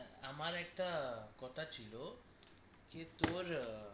আমার একটা কথা ছিল যে তোর